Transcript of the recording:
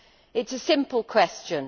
It is a simple question.